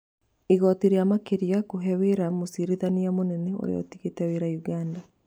Igooti rĩa makĩria kũhe wĩra mũcirithania mũnene ũrĩa ũtigĩte wĩra Ũganda